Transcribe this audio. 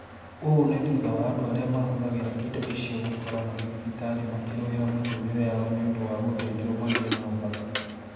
Ũũ nĩ thutha wa andũ arĩa mahũthagĩra indo icio gwĩkora marĩ thibitarĩ makĩrũĩra mĩtũrire yao nĩũndũ wa gũthĩnjwo magĩe na ũthaka